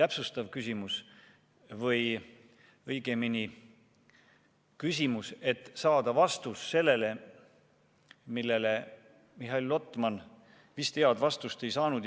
täpsustav küsimus või õigemini küsimus, mille abil saada vastust sellele, millele Mihhail Lotman vist head vastust ei saanud.